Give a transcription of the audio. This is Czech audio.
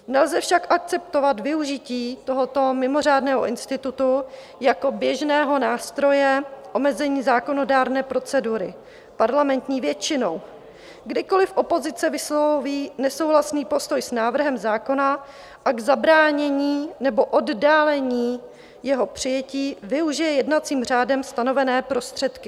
Nelze však akceptovat využití tohoto mimořádného institutu jako běžného nástroje omezení zákonodárné procedury parlamentní většinou, kdykoli opozice vysloví nesouhlasný postoj s návrhem zákona a k zabránění nebo oddálení jeho přijetí využije jednacím řádem stanovené prostředky.